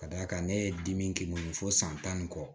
Ka d'a kan ne ye dimi k'i kun fo san tan ni kɔ